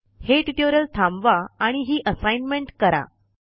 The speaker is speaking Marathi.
हे ट्यूटोरियल थांबवा आणि हि असाइनमेंट करा